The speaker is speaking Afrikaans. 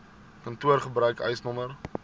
kantoor gebruik eisnr